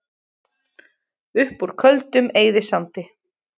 Upp úr Köldum eyðisandi